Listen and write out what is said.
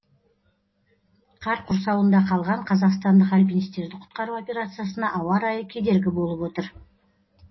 қар құрсауында қалған қазақстандық альпинистерді құтқару операциясына ауа райы кедергі болып отыр